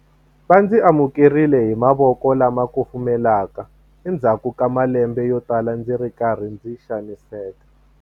Va ndzi amukerile hi mavoko lama kufumelaka endzhaku ka malembe yotala ndzi ri karhi ndzi xaniseka.